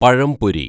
പഴംപൊരി